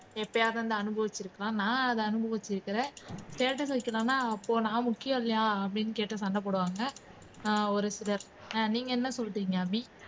எப்பவாவது அதை அனுபவிச்சிருக்கலாம் நான் அனுபவிச்சிருக்கிறேன் status வைக்கலேனா அப்போ நான் முக்கியம் இலையான்னு அப்படின்னு கேட்டு சண்டை போடுவாங்க அஹ் ஒரு சிலர் அஹ் நீங்க என்ன சொல்றீங்க அபி